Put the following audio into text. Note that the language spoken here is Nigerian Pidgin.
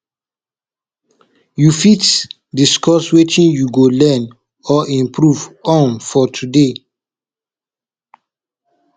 you fit discuss wetin you go learn or improve on for today